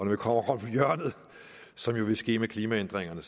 vi kommer om hjørnet som jo vil ske med klimaændringerne